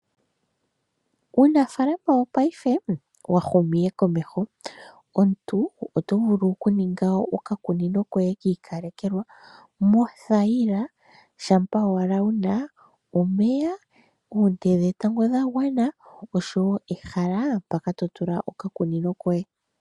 Uunafaalama wopaife owahuma komeho mpono omuntu tovulu kuninga okakunino koye kiikalekelwa mothayila , shampa owala wuna omeya, oonte dhetango dhagwana oshowoo ehala mpoka totula okakunino koye.